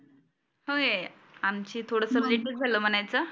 होय, आमची थोडसं लेट चं झालं म्हणायचं.